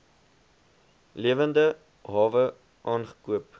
lewende hawe aangekoop